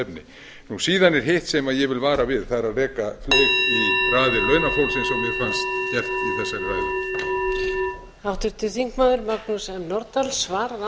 efni síðan er hitt sem ég vil vara við það er að reka fleyg í raðir launafólksins eins og mér fannst efst í þessari ræðu